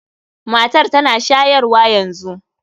Matar tana shayarwa yanzu.